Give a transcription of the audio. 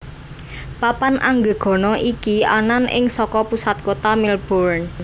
Papan Anggegana iki anan ing saka pusat kota Melbourne